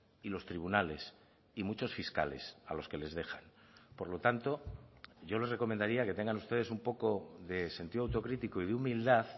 y los tribunales y muchos fiscales a los que les dejan por lo tanto yo les recomendaría que tengan ustedes un poco de sentido autocrítico y de humildad